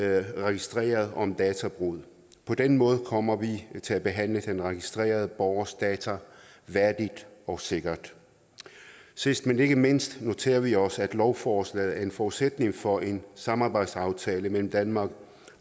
registrerede om databrud på den måde kommer vi til at behandle den registrerede borgers data værdigt og sikkert sidst men ikke mindst noterer vi os at lovforslaget er en forudsætning for en samarbejdsaftale mellem danmark